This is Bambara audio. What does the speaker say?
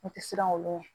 N tɛ siran olu